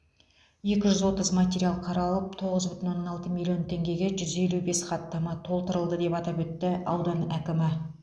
екі жүз отыз материал қаралып тоғыз бүтін оннан алты миллион теңгеге жүз елу бес хаттама толтырылды деп атап өтті аудан әкімі